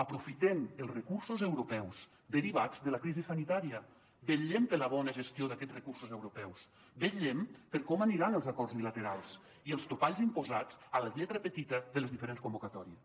aprofitem els recursos europeus derivats de la crisi sanitària vetllem per la bona gestió d’aquests recursos europeus vetllem per com aniran els acords bilaterals i els topalls imposats a la lletra petita de les diferents convocatòries